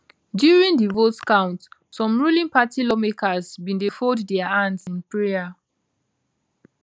during di vote count some ruling party lawmakers bin dey fold dia hands in prayer